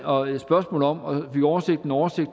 også spørgsmål om og fik oversendt en oversigt